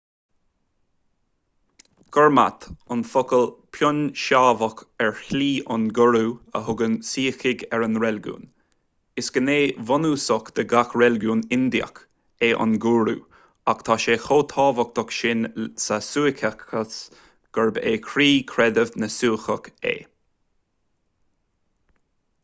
gurmat an focal puinseábach ar slí an ghúrú a thugann suícigh ar a reiligiún is gné bhunúsach de gach reiligiún indiach é an gúrú ach tá sé chomh tábhachtach sin sa suíceachas gurb é croí chreideamh na suíceach é